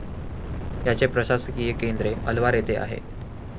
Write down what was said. याचे प्रशासकीय केंद्रे अलवार येथे आहे.